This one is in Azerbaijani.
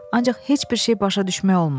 Ancaq heç bir şey başa düşmək olmur.